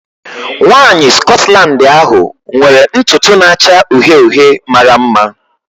Nwanyị Scotland ahu nwere ntutu na-acha uhie uhie mara mma.